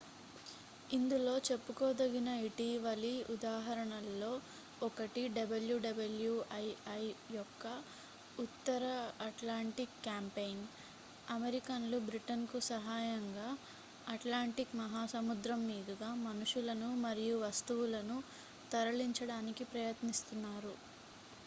ఇందులో చెప్పుకోదగిన ఇటీవలి ఉదాహరణల్లో ఒకటి wwii యొక్క ఉత్తర అట్లాంటిక్ క్యాంపెయిన్ అమెరికన్లు బ్రిటన్ కు సహాయంగా అట్లాంటిక్ మహాసముద్రం మీదుగా మనుషులను మరియు వస్తువులను తరలించడానికి ప్రయత్నిస్తున్నారు